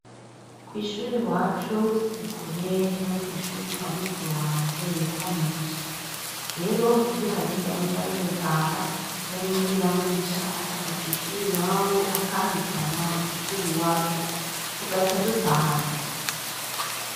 Kwishur' iwacu, sikure yo kw' ishure kwa mukuru wanje yitwa Mugisha. Rero, iyo hagez 'amasaha yogutaha ndarindira Mugisha, akava kw' ishur' iwab' akampitana kw' ishur' iwacu dugaca dutahana.